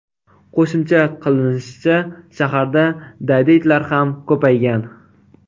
Qo‘shimcha qilinishicha, shaharda daydi itlar ham ko‘paygan.